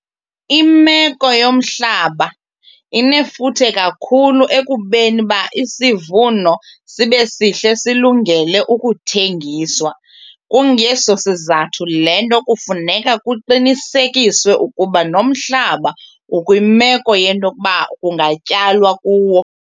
Imeko yomhlaba inefuthe kakhulu ekubeni uba isivuno sibe sihle silungele ukuthengiswa. Kungeso sizathu le nto kufuneka kuqinisekiswe ukuba nomhlaba ukwimeko yento yokuba kungatyalwa kuwo.